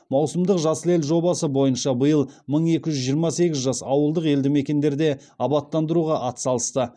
маусымдық жасыл ел жобасы бойынша биыл мың екі жүз жиырма сегіз жас ауылдық елді мекендерде абаттандыруға атсалысты